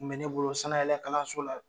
Kun bɛ ne bolo sanayɛlɛkalanso la